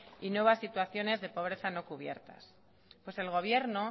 y nuevas situaciones de pobreza no cubiertas pues el gobierno